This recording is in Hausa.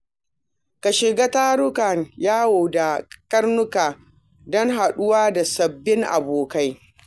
Ka shiga tarukan yawo da karnuka don haɗuwa da sabbin abokai.